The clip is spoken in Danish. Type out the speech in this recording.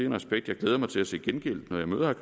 en respekt jeg glæder mig til at se gengældt når jeg møder